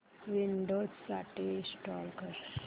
Windows साठी install कर